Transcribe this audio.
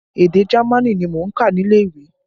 Èdè Jamaní ni mò ń kà nílé ìwé